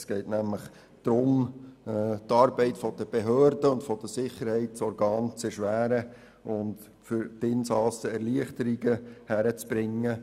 Es geht nämlich darum, die Arbeit der Behörden und der Sicherheitsorgane zu erschweren und für die Insassen Erleichterungen hinzubekommen.